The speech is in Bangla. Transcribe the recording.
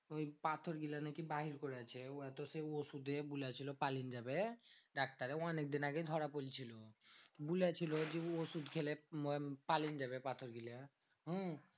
ওই পাথর গুলা নাকি বাহির করিয়াছে। উড়া তো সেই ওষুধে বলেছিল পালিন যাবে। ডাক্তারে অনেকদিন আগে ধরা পড়েছিল। বলেছিল যে, ওষুধ খেলে আহ পালিন যাবে পাথর গুলা। হম